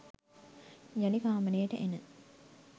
යළි කාමරයට එන